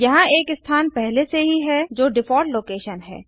यहाँ एक स्थान पहले से ही है जो डिफ़ॉल्ट लोकेशन है